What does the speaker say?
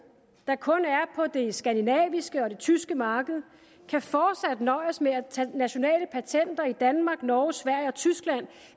der kun er på det skandinaviske og det tyske marked kan fortsat nøjes med at tage nationale patenter i danmark norge sverige og tyskland